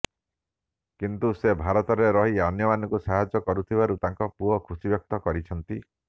କିନ୍ତୁ ସେ ଭାରତରେ ରହି ଅନ୍ୟମାନଙ୍କୁ ସାହାଯ୍ୟ କରୁଥିବାରୁ ତାଙ୍କ ପୁଅ ଖୁସି ବ୍ୟକ୍ତ କରିଛନ୍ତି